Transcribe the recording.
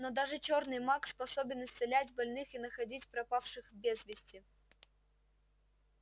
но даже чёрный маг способен исцелять больных и находить пропавших безвести